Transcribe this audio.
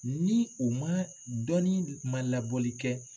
Ni u ma, dɔɔnin ma labɔli kɛ.